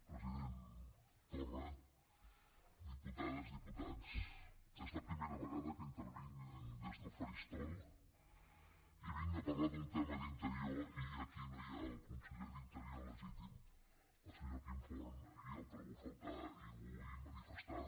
president torra diputades diputats és la primera vegada que intervinc des del faristol i vinc a parlar d’un tema d’interior i aquí no hi ha el conseller d’interior legítim el senyor quim forn i el trobo a faltar i ho vull manifestar